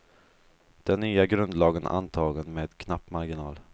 Den nya grundlagen antagen med knapp marginal.